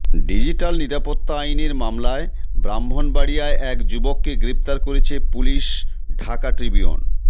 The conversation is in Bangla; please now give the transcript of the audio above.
ডিজিটাল নিরাপত্তা আইনের মামলায় ব্রাহ্মণবাড়িয়ায় এক যুবককে গ্রেফতার করেছে পুলিশ ঢাকা ট্রিবিউন